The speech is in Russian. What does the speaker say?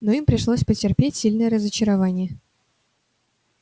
но им пришлось потерпеть сильное разочарование